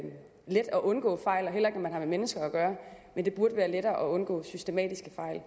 undgå fejl og heller ikke når man har med mennesker gøre men det burde være lettere at undgå systematiske fejl